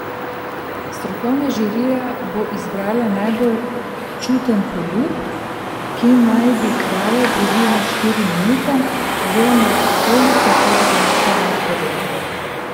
Strokovna žirija bo izbrala najbolj čuten poljub, ki naj bi trajal približno štiri minute oziroma toliko kot glasbena podlaga.